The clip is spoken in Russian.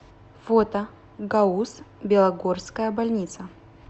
фото гауз белогорская больница